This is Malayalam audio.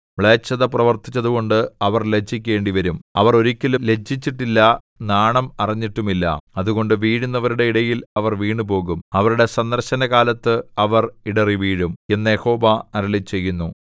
മ്ലേച്ഛത പ്രവർത്തിച്ചതുകൊണ്ട് അവർ ലജ്ജിക്കേണ്ടിവരും അവർ ഒരിക്കലും ലജ്ജിച്ചിട്ടില്ല നാണം അറിഞ്ഞിട്ടുമില്ല അതുകൊണ്ട് വീഴുന്നവരുടെ ഇടയിൽ അവർ വീണുപോകും അവരുടെ സന്ദർശനകാലത്ത് അവർ ഇടറിവീഴും എന്ന് യഹോവ അരുളിച്ചെയ്യുന്നു